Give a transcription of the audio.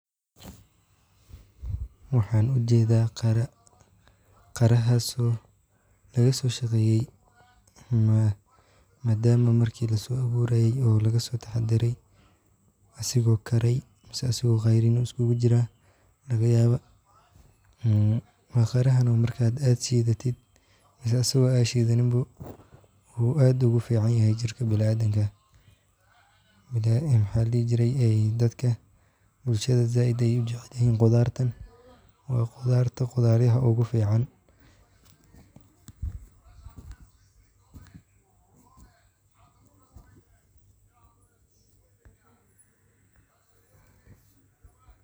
Waxan ujedaa qiraa, qirahaso laga soshaqeyey, madaama marki laawurayee o laga sotaxadaree, isago karee mase isago ceyriin ah iskugu jiraa, ee qirahanaa markaa shidatiid mase isago aad shidanin boo, wuxuu aad ogu ficanyahay jirkaa bilaadanka, ee maxaa ladihi jiree dadka bulshaada aad ayey ujecelyihiin qudhartan; waa qudhartaa qudharyaha ogu fiican.